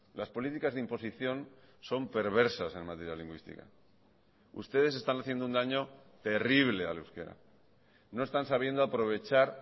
las políticas de imposición son perversas en materia lingüística ustedes están haciendo un daño terrible al euskera no están sabiendo aprovechar